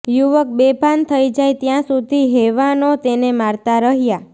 યુવક બેભાન થઈ જાય ત્યાં સુધી હેવાનો તેને મારતા રહ્યાં